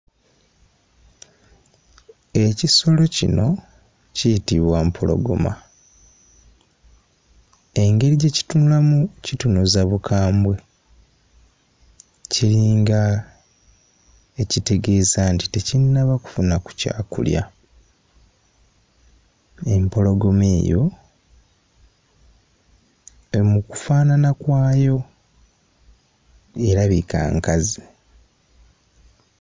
Ekisolo kino kiyitibwa mpologoma, engeri gye kitunulamu kitunuza bukambwe kiringa ekitegeeza nti tekinnaba kufuna ku kyakulya. Empologoma eyo mu kufaanana kwayo erabika nkazi.